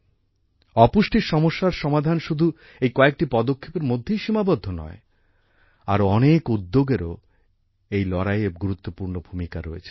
অপুষ্টির সমস্যার সমাধান শুধু এই কয়েকটি পদক্ষেপের মধ্যেই সীমাবদ্ধ নয় আরও অনেক উদ্যোগেরও এই লড়াইয়ে গুরুত্বপূর্ণ ভূমিকা রয়েছে